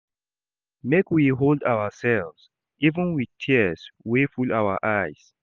Make we hold ourselves even wit tears wey full our eyes.